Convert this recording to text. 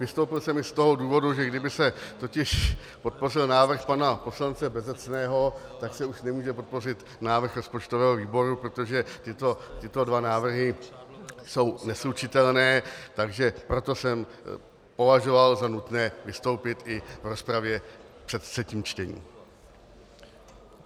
Vystoupil jsem i z toho důvodu, že kdyby se totiž podpořil návrh pana poslance Bezecného, tak se už nemůže podpořit návrh rozpočtového výboru, protože tyto dva návrhy jsou neslučitelné, takže proto jsem považoval za nutné vystoupit i v rozpravě před třetím čtením.